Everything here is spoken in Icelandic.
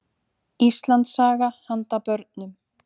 Íslandssaga handa börnum.